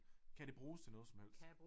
Kan det bruges til noget som helst